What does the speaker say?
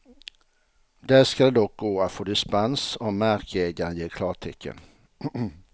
Där ska det dock gå att få dispens om markägaren ger klartecken.